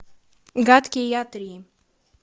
гадкий я три